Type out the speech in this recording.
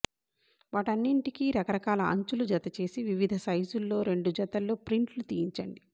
వాటన్నింటికీ రకరకాల అంచులు జత చేసి వివిధ సైజుల్లో రెండు జతల్లో ప్రింట్లు తీయించండి